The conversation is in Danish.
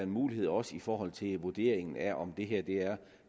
mulighed også i forhold til vurderingen af om